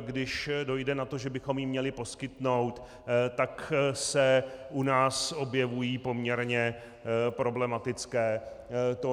když pak dojde na to, že bychom ji měli poskytnout, tak se u nás objevují poměrně problematické tóny.